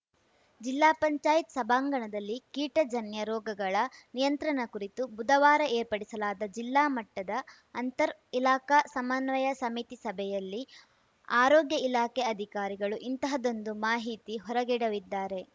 ಜಿಲ್ಲಾ ಪಂಚಾಯತ್ ಸಭಾಂಗಣದಲ್ಲಿ ಕೀಟಜನ್ಯ ರೋಗಗಳ ನಿಯಂತ್ರಣ ಕುರಿತು ಬುಧವಾರ ಏರ್ಪಡಿಸಲಾದ ಜಿಲ್ಲಾ ಮಟ್ಟದ ಅಂತರ್‌ ಇಲಾಖಾ ಸಮನ್ವಯ ಸಮಿತಿ ಸಭೆಯಲ್ಲಿ ಆರೋಗ್ಯ ಇಲಾಖೆ ಅಧಿಕಾರಿಗಳು ಇಂತಹದ್ದೊಂದು ಮಾಹಿತಿ ಹೊರಗೆಡವಿದ್ದಾರೆ